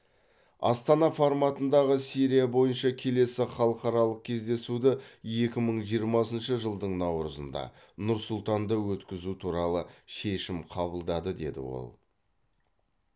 астана форматындағы сирия бойынша келесі халықаралық кездесуді екі мың жиырмасыншы жылдың наурызында нұр сұлтанда өткізу туралы шешім қабылдады деді ол